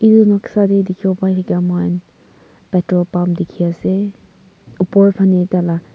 edu noksa de dikhibo pai thake moi khan petrol pump dikhi ase opor phane taila--